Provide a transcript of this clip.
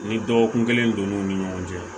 Ni dɔgɔkun kelen don n'u ni ɲɔgɔn cɛ